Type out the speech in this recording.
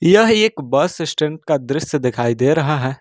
यह एक bus stand का दृश्य दिखाई दे रहा है।